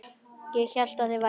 Ég hélt þér væruð átján.